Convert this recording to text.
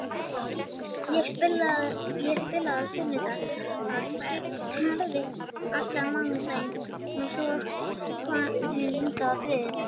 Ég spilaði á sunnudag, ferðaðist allan mánudaginn og var svo komin hingað á þriðjudaginn.